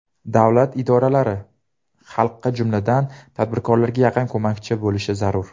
Davlat idoralari xalqqa, jumladan, tadbirkorlarga yaqin ko‘makchi bo‘lishi zarur.